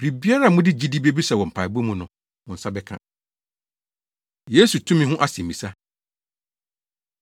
Biribiara a mode gyidi bebisa wɔ mpaebɔ mu no, mo nsa bɛka.” Yesu Tumi Ho Asɛmmisa